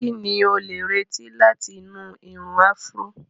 Kí ni o lè retí láti inú irun áfúró?